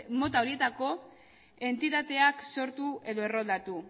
mota horietako entitateak sortu edo erroldatu